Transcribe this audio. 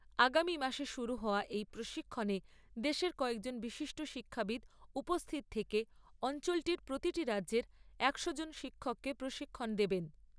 আগামী মাসে শুরু হওয়া এই প্রশিক্ষণে দেশের কয়েকজন বিশিষ্ট শিক্ষাবিদ উপস্থিত থেকে অঞ্চলটির প্রতিটি রাজ্যের একশো জন শিক্ষককে প্রশিক্ষণ দেবেন।